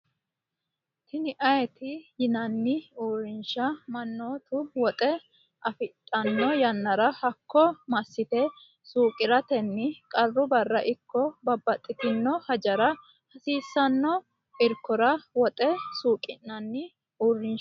tini ayati yinanni uurinsha mannoti woxe afidhanno yannara hakko massite suuqiratenni qarru barra ikko babbaxitino hajora hasiissanno irkora woxe suuqi'nanni uurinshati.